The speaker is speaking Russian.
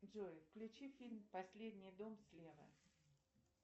джой включи фильм последний дом слева